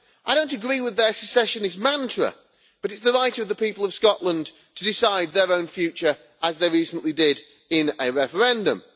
I do not agree with their secessionist mantra, but is the right of the people of Scotland to decide their own future, as they recently did in a referendum.